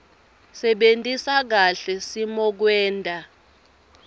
sebentisa kahle simokwenta